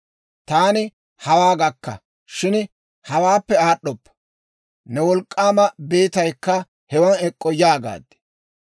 Taani, ‹Hawaa gakka; shin hawaappe aad'd'oppa; ne wolk'k'aama beetaykka hewan ek'k'o› yaagaad.